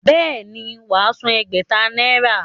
Bẹ́ẹ̀ ni, wà á san ẹgbẹ̀ta náírà.